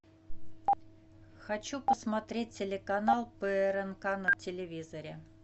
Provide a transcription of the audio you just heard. хочу посмотреть телеканал прнк на телевизоре